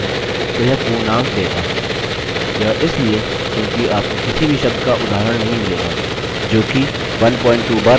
यह इसलिए क्योंकि आपको किसी भी शब्द का उदाहरण नहीं मिलेगा जोकि 12 बार मौजूद हो